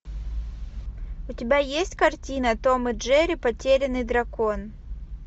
у тебя есть картина том и джерри потерянный дракон